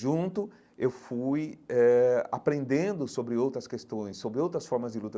Junto, eu fui eh aprendendo sobre outras questões, sobre outras formas de luta.